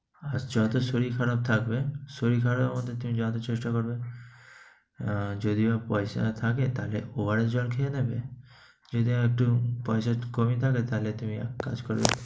আর যত শরীর খারাপ থাকবে, শরীর খারাপের মধ্যে তুমি যত চেষ্টা করবে, অ্যা যদিও পয়সা থাকে তাহলে ওয়ারি জল খেয়ে নেবে। যদিও একটু পয়সা কমই থাকে তাহলে তুমি এক কাজ করো